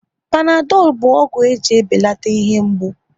Panadolu bụ ọgwụ e ji ebelata ihe mgbu